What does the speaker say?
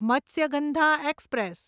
Matsyagandha express